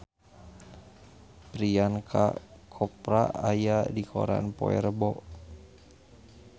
Priyanka Chopra aya dina koran poe Rebo